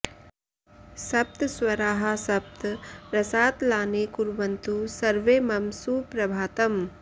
सप्त स्वराः सप्त रसातलानि कुर्वन्तु सर्वे मम सुप्रभातम्